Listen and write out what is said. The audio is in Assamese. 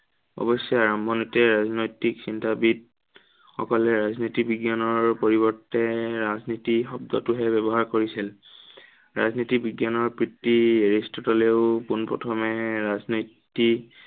অৱশ্যে আৰম্ভণিতে ৰাজনৈতিক চিন্তাবিদ সকলে ৰাজনীতি বিজ্ঞানৰ পৰিৱৰ্তে ৰাজনীতি শব্দটোহে ব্য়ৱহাৰ কৰিছিল। ৰাজনীতি বিজ্ঞানৰ পিতৃ এৰিষ্টটলেও পোণ প্ৰথমে ৰাজনৈতিক